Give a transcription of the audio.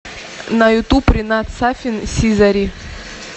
на ютуб ринат сафин сизари